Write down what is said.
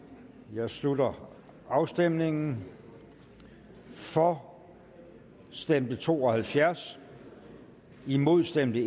jeg slutter afstemningen for stemte to og halvfjerds imod stemte